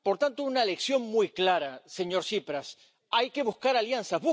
Por tanto, una lección muy clara, señor Tsipras hay que buscar alianzas.